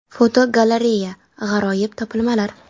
Fotogalereya: G‘aroyib topilmalar.